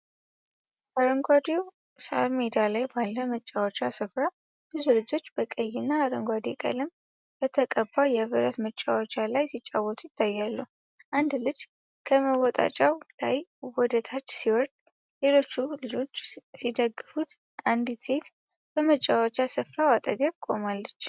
አረንጓዴው ሳር ሜዳ ላይ ባለ መጫወቻ ስፍራ፣ ብዙ ልጆች በቀይ እና አረንጓዴ ቀለም በተቀባ የብረት መወጣጫ ላይ ሲጫወቱ ይታያሉ። አንድ ልጅ ከመወጣጫው ላይ ወደ ታች ሲወርድ፣ ሌሎቹ ልጆች ሲደግፉት አንዲት ሴት በመጫወቻ ስፍራው አጠገብ ቆማለች።